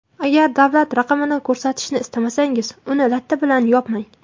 Agar davlat raqamini ko‘rsatishni istamasangiz, uni latta bilan yopmang .